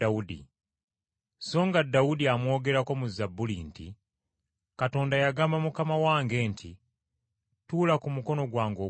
Songa Dawudi amwogerako mu Zabbuli nti, “ ‘Katonda yagamba Mukama wange nti, Tuula ku mukono gwange ogwa ddyo